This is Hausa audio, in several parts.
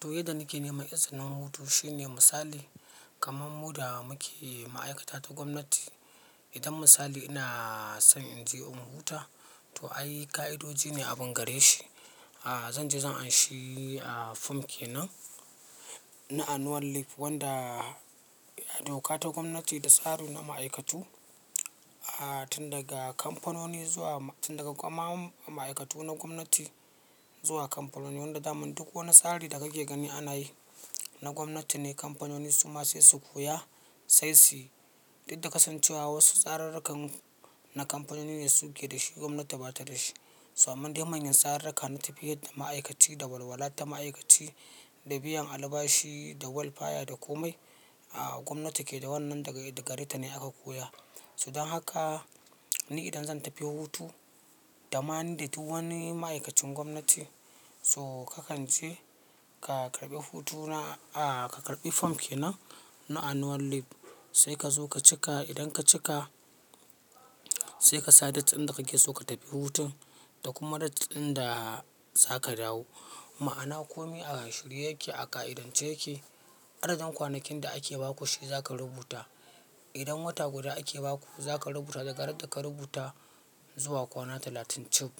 To yadda nake nema, izinnin hutu shine misali kaman mu da muke ma'aikata ta gwamnati. Idan misali ina son in je unguwar huta, to ayyika'idoji ne abin gare shi. A zan je zan anshi a fomke nan na annual leave wanda doka ta gwamnati da tsari na ma'aikatu, a tun daga kamfanoni zuwa tun daga kwamamun ma'aikatu na gwamnati zuwa kamfanonin wanda damin duk wani tsari da kake gani ana yi na gwamnati ne. Kamfanoni su ma sai su koya sai suyi shi. Inda kasancewa wasu tsarurrukan na kamfanoni ne suke da shi gwamnati bata da shi. So amman dai manyan tsararraka na tafiyar da ma'aikaci, da walwala ta ma'aikaci, da biyan albashi, da welfare da komai a gwamnati ke da wannan daga gare ta ne aka koya. So dan haka ni idan zan tafi hutu dama ni da duk wani ma'aikacin gwamnati so ka kan je ka karɓi hutuna a ka karɓi fomke nan na annual leave sai ka zo ka cika. Idan ka cika sai kasa date din dakakeso katafi hutun da kuma date din da zaka dawo. Ma'ana kome a shuri yake, a ƙa'ida ce yake. Adadin kwanakin da ake baku shi za ka rubuta. Idan wata guda ake baku za ka rubuta daga ran da ka rubuta zuwa kwana talatin cib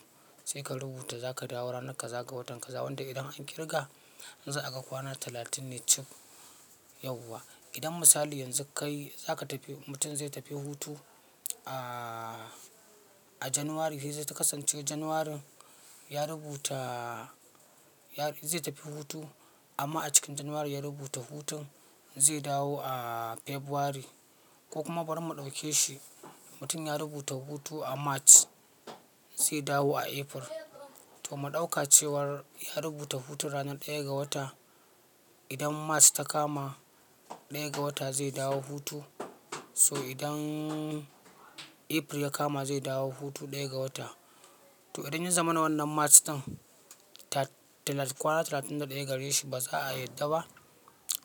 sai ka rubuta za ka dawo rana ka za ka wata ka za wanda idan an kirga za a ga kwana talatin ne cib yauwa. Idan misali yanzu kai za ka tafi mutum zai tafi hutu a a januwari sai zai kasance januwari ya rubuta ya zai tafi hutu amma a cikin januwari ya rubuta hutun zai dawo a febari ko kuma bari mu ɗauke shi mutum ya rubuta hutu a march zai dawo a april. To mu ɗauka cewar ya rubuta hutu ranar ɗaya ga wata idan march ta kama ɗaya ga wata zai dawo hutu so idan april ya kama zai dawo hutu ɗaya ga wata. To idan yaza mana wannan march ɗin ta kwana talatin da ɗaya gare shi ba za a yarda ba.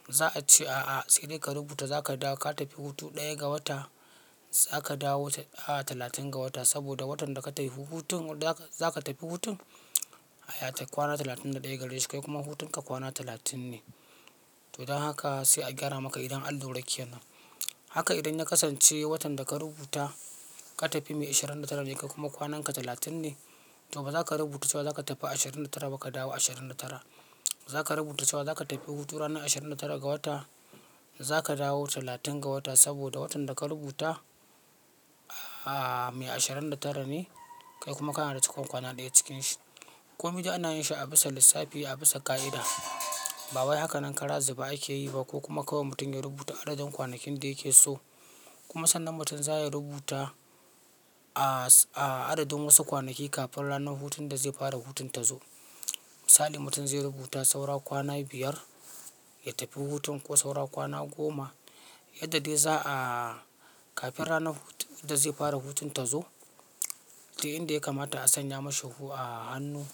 Za a ce a'a sai dai ka rubuta za ka dawo ka tafi hutu ɗaya ga wata za ka dawo a talatin ga wata saboda watan da ka tafi hutun za ka tafi hutun ya tafi kwana talatin da ɗaya gare shi kai kuma hutun ka kwana talatin ne. To dan haka sai a gyara maka idan allura ke nan. Haka idan na kasance watan da ka rubuta ka tafi mai ashirin da tara ne kai kuma kwanan ka talatin ne to ba za ka rubuta cewa za ka tafi ashirin da tara ba ka dawo ashirin da tara. Za ka rubuta cewa za ka tafi hutu ranar ashirin da tara ga wata za ka dawo talatin ga wata saboda watan da ka rubuta a mai ashirin da tara ne kai kuma kana da cikon kwana ɗaya cikin shi. Komai da ana yin shi a bisa lissafi a bisa ƙa'ida. Ba wai hakanan karazu be ake yi ba ko kuma kawai mutum ya rubuta adadin kwanakin da yake so. Kuma sannan mutum za ya rubuta a adadin wasu kwanaki kafin ranar hutun da zai fara hutun ta zo. Misali mutum zai rubuta saura kwana biyar ya tafi hutun ko saura kwana goma yadda dai za'a kafin ranar hutun da zai fara hutun ta zo. Sai inda ya kamata a sanya mashi a hannu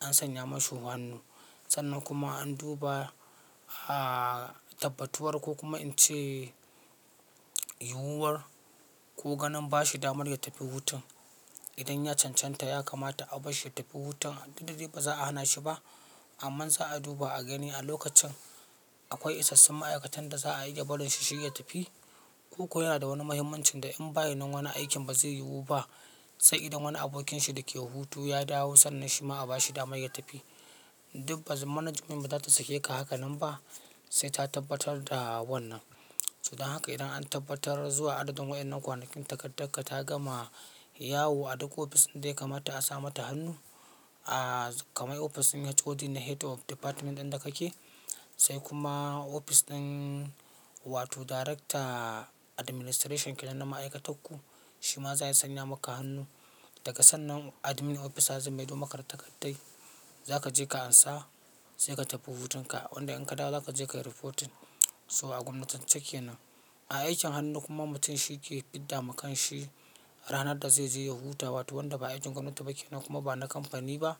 an sanya mashi hannu. Sannan kuma an duba a tabbatuwar ko kuma in ce yiwuwar ko ganin bashi damar ya tafi hutun. Idan ya cancanta ya kamata a bar shi ya tafi hutun daddare ba za a hana shi ba. Amma za a duba a gani a lokacin akwai isassun ma'aikatan da za a iya barin shi shi ya tafi. Ko ko yana da wani muhimmancin da in bayan nan wani aikin ba zai yiwu ba. Sai idan wani abokin shi dake hutu ya dawo sannan shi ma a bashi damar ya tafi. Dubba management ba za ta sakeka hakanan ba sai ta tabbatar da wannan. So dan haka idan an tabbatar zuwa adadin waɗannan kwanakin takarda ka ta gama yawo a duk ofis ɗin da ya kamata a sa mata hannu. A kamai ofis ɗin ya HOD na head of department ɗin da kake sai kuma ofis ɗin wato director administration ke nan na ma'aikatanku. Shi ma zai sanya maka hannu. Daga sannan admin officer za mai do maka da takaddar za ka je ka ansa sai ka tafi hutun ka wanda in ka dawo za ka je ka yi reporting so a gwamnatin ce ke nan. A aikin hannu kuma mutum shi yake fidda ma kan shi ranar da zai je ya huta wato wanda ba ajin gwamnati ba ke nan kuma ba na kamfani ba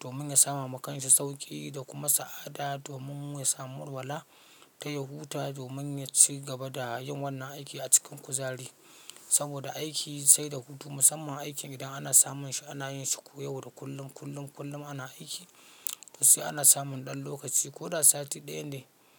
domin ya sama ma kan shi sauƙi da kuma sa'ada domin ya samu walwala yaje ya huta domin yaci gaba da yin wannan aikin acikin kuzari saboda aiki sai da hutu musamman aikin ana samunshi anayishi kullum kullum kullum ana aiki to sai ana samun dan lokaci koda sati daya ne.